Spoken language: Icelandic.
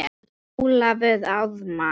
Ólafur Ármann.